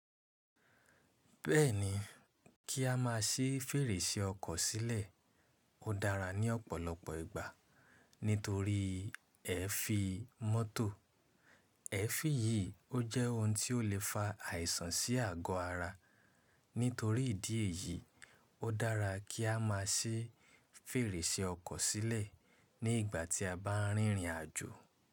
Bẹ́ẹ̀ni, kí a má si fèrèsé ọkọ̀ sílẹ̀ ó dára ní ọ̀pọ̀lọpọ̀ ìgbà nítorí ẹ́fì mọ́tò. Ẹ́fì yìí ó jẹ́ ohun tí ó le fa àìsàn sí àgọ́ ara. Nítorí ìdí èyí, ó dára kí a má si fèrèsé ọkọ̀ sílẹ̀ ní ìgbà tí a bá ń rìnrìn àjò.